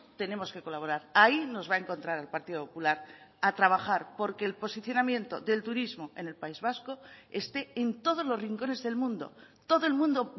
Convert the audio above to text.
tenemos que colaborar ahí nos va a encontrar al partido popular a trabajar porque el posicionamiento del turismo en el país vasco esté en todos los rincones del mundo todo el mundo